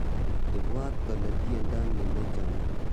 Ibwot kole tiendo ni nachame